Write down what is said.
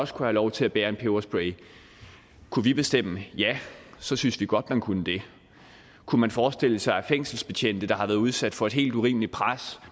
få lov til at bære en peberspray kunne vi bestemme ja så synes vi godt man kunne det kunne man forestille sig at fængselsbetjente der har været udsat for et helt urimeligt pres